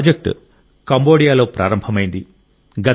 ఈ ప్రాజెక్ట్ కంబోడియాలో ప్రారంభమైంది